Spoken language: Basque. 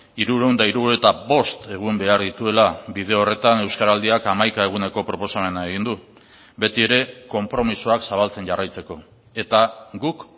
hirurehun eta hirurogeita bost egun behar dituela bide horretan euskaraldiak hamaika eguneko proposamena egin du betiere konpromisoak zabaltzen jarraitzeko eta guk